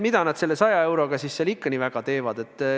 Mida nad selle 100 euroga siis ikka nii väga teeksid?